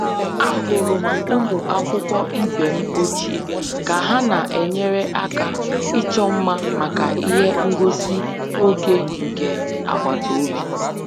Ahụrụ m ụmụ akwụkwọ ibe m ochie ka ha na-enyere aka ịchọ mma maka ihe ngosi oge nke agbata obi